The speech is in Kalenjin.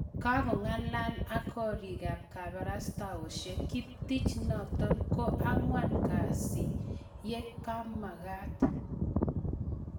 Kong'alaal ak koriik ap kabarastaoshek, kiptich notok ko ang'wan kasi ye komakaat